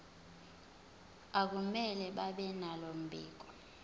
akumele babenalo mbiko